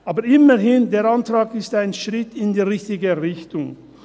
Aber immerhin: Der Antrag ist ein Schritt in die richtige Richtung.